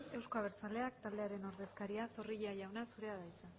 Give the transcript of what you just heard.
euzko abertzaleak taldearen ordezkaria zorrilla jauna zurea da hitza